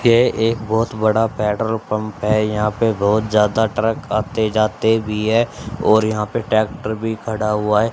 ये एक बहोत बड़ा पेट्रोल पंप है यहां पे बहोत ज्यादा ट्रक आते जाते भी है और यहां पे ट्रैक्टर भी खड़ा हुआ है।